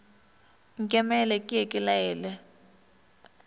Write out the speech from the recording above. nkemele ke ye ke laele